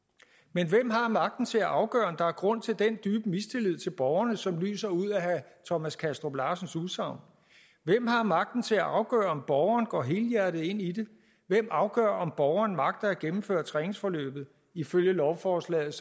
men hvem har magten til at afgøre om der er grund til den dybe mistillid til borgerne som lyser ud af herre thomas kastrup larsens udsagn hvem har magten til at afgøre om borgeren går helhjertet ind i det hvem afgør om borgeren agter at gennemføre træningsforløbet ifølge lovforslaget